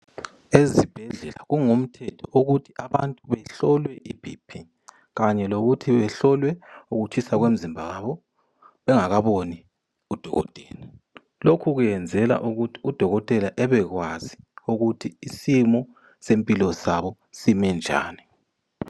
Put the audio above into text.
Ezibhedlela kungumthetho ukuthi abantu behlolwe iBP kanye lokuthi behlolwe ukutshisa komzimba wabo. Bengaboni udokotela. Lokhu kwenzelwa ukuthi udokotela ebakwazi ukuthi isimo sempilo sabo sime njani.